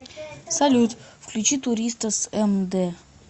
салют включи туриста с эм дэ